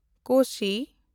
Kosi